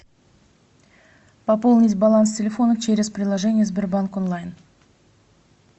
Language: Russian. пополнить баланс телефона через приложение сбербанк онлайн